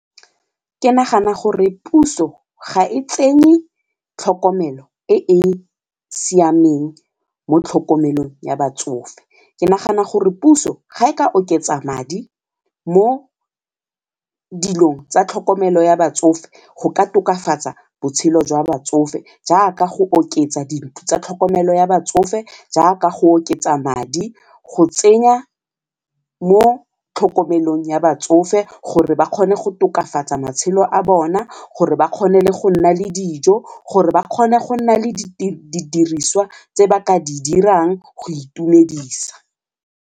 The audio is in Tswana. Ke nagana gore puso ga e tsenye tlhokomelo e e siameng mo tlhokomelong ya batsofe, ke nagana gore puso ga e ka oketsa madi mo dilong tsa tlhokomelo ya batsofe go ka tokafatsa botshelo jwa batsofe jaaka go oketsa dintlo tsa tlhokomelo ya batsofe jaaka go oketsa madi go tsenya mo tlhokomelong ya batsofe gore ba kgone go tokafatsa matshelo a bona, gore ba kgone le go nna le dijo, gore ba kgone, go nna le didiriswa tse ba ka di dirang go itumedisa.